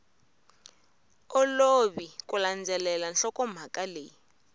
olovi ku landzelela nhlokomhaka leyi